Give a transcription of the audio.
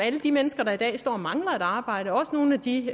alle de mennesker der i dag står og mangler et arbejde også nogle af de